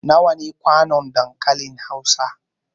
Nawa ne kwanon dankalin Hausa?